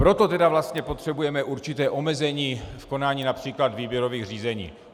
Proto tedy vlastně potřebujeme určité omezení v konání například výběrových řízení.